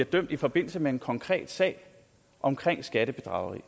dømt i forbindelse med en konkret sag omkring skattebedrageri